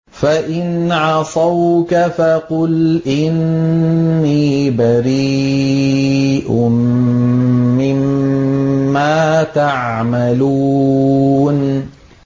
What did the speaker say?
فَإِنْ عَصَوْكَ فَقُلْ إِنِّي بَرِيءٌ مِّمَّا تَعْمَلُونَ